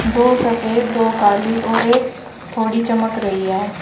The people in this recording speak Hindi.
दो सफेद दो काली और एक थोड़ी चमक रही है।